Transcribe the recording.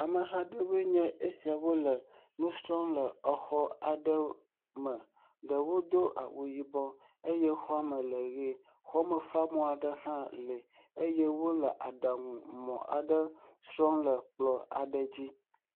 Ameha aɖewo nye esiawo le xɔ aɖe me, ɖewo do awu yibɔ eye xɔa me le ʋe, xɔamefamɔ aɖe hã le eye wole aɖaŋu mɔ aɖe srɔm le ekplɔa dzi.